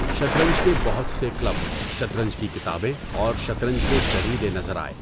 شطرنج کے بہت سے کلب، شطرنج کی کتابیں اور شطرنج کے جریدے نظر آئے۔